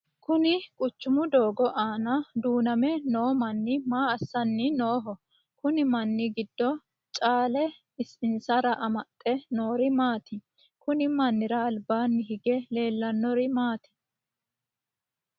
Kunni quchumu doogo aanna duuname noo manni maa assanni Nooho? Konni manni gido caale asire amaxe noori maati? Kunni mannira albaanni hige leelanori maati?